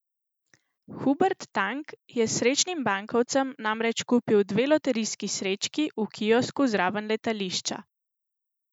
Hubert Tang je s srečnim bankovcem namreč kupil dve loterijski srečki v kiosku zraven letališča.